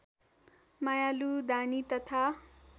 मायालु दानी तथा